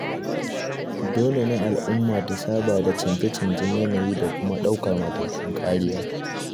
Dole ne al'umma ta saba da chanje-chanjen yanayi da kuma ɗaukar matakan kariya.